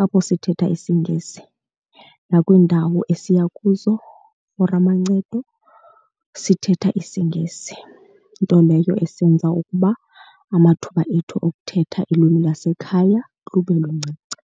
apho sithetha isiNgesi. Nakwiindawo esiya kuzo for amancedo sithetha isiNgesi, nto leyo esenza ukuba amathuba ethu okuthetha ilwimi lwasekhaya lube luncinci.